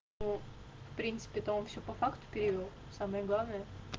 ну в принципе то он всё по факту перевёл самое главное